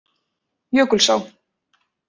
Jökulsá